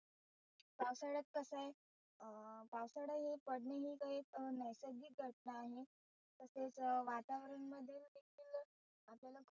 पावसाळ्यात कसं आहे अं पावसाळा हे पडणे हे एक नैसर्गिक घटना आहे तसेच वातावरण मध्ये देखील आपल्याला खुप